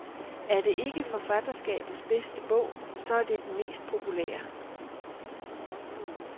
Er det ikke forfatterskabets bedste bog, så er det den mest populære.